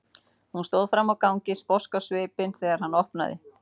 Hún stóð frammi á gangi sposk á svipinn þegar hann opnaði.